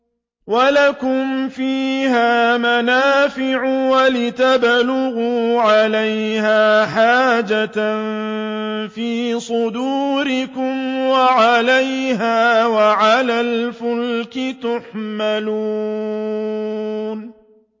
وَلَكُمْ فِيهَا مَنَافِعُ وَلِتَبْلُغُوا عَلَيْهَا حَاجَةً فِي صُدُورِكُمْ وَعَلَيْهَا وَعَلَى الْفُلْكِ تُحْمَلُونَ